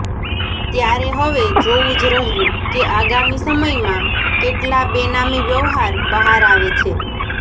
ત્યારે હવે જોવું જ રહ્યું કે આગામી સમયમાં કેટલા બેનામી વ્યવહાર બહાર આવે છે